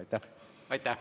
Aitäh!